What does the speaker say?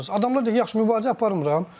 Adamlar deyir yaxşı, mübarizə aparmıram.